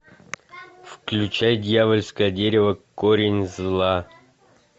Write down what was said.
включай дьявольское дерево корень зла